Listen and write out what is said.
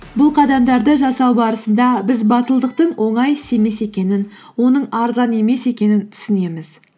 бұл қадамдарды жасау барысында біз батылдықтың оңай іс емес екенін оның арзан емес екенін түсінеміз